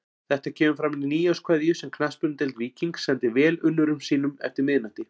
Þetta kemur fram í nýárskveðju sem Knattspyrnudeild Víkings sendi velunnurum sínum eftir miðnætti.